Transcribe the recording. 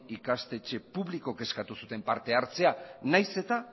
ikastetxe publikok eskatu zuten parte hartzea naiz eta